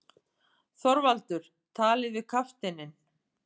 ÞORVALDUR: Talið við kafteininn.